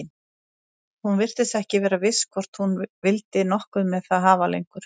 Hún virtist ekki vera viss hvort hún vildi nokkuð með það hafa lengur.